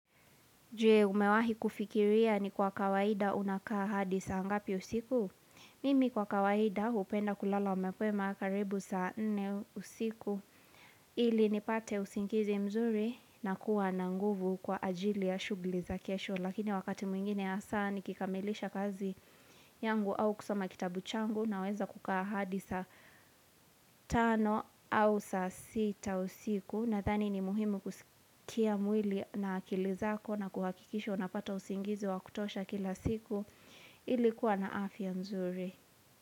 Jue umewahi kufikiria ni kwa kawaida unakaa hadi saa ngapi usiku? Mimi kwa kawaida hupenda kulala mapema karibu saa 4 usiku. Ili nipate usingizi mzuri nakuwa na nguvu kwa ajili ya shughuli za kesho. Lakini wakati mwingine ya saa nikikamilisha kazi yangu au kusoma kitabu changu naweza kukaa hadi saa 5 au saa 6 usiku. Nadhani ni muhimu kuzitia mwili na akili zako na kuhakikisha unapata usingizi wa kutosha kila siku ili kuwa na afya nzuri.